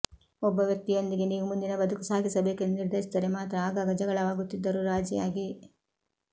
ಒಬ್ಬ ವ್ಯಕ್ತಿಯೊಂದಿಗೆ ನೀವು ಮುಂದಿನ ಬದುಕು ಸಾಗಿಸಬೇಕೆಂದು ನಿರ್ಧರಿಸಿದ್ದರೆ ಮಾತ್ರ ಆಗಾಗ ಜಗಳವಾಗುತ್ತಿದ್ದರೂ ರಾಜಿಯಾಗಿ